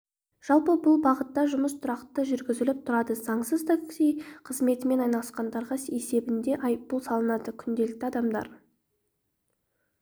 жалпы бұл бағытта жұмыс тұрақты жүргізіліп тұрады заңсыз такси қызметімен айналысқандарға есебінде айыппұл салынады күнделікті адамдар